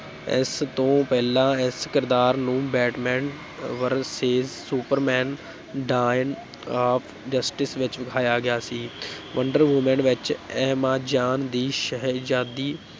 ਇਸ ਤੋਂ ਪਹਿਲਾਂ ਇਸ ਕਿਰਦਾਰ ਨੂੰ Batman versus Superman Dawn of Justice ਵਿੱਚ ਵਿਖਾਇਆ ਗਿਆ ਸੀ ਵੰਡਰ ਵੁਮੈਨ ਵਿੱਚ ਐਮਾਜ਼ਾਨ ਦੀ ਸ਼ਹਿਜ਼ਾਦੀ